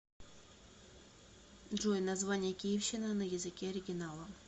джой название киевщина на языке оригинала